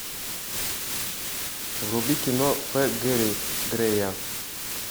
вруби кино ф гэри грея